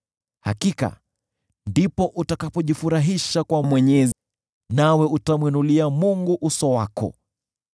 Hakika ndipo utakapojifurahisha kwa Mwenyezi, nawe utamwinulia Mungu uso wako.